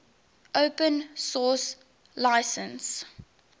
open source license